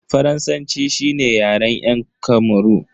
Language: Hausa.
Faransanci shine Yaren yan Kamaru.